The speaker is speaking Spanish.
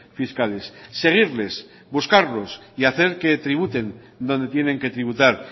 fiscales seguirles buscarlos y hacer que tributen donde tienen que tributar